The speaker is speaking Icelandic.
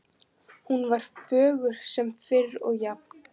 Hún var fögur sem fyrr og jafn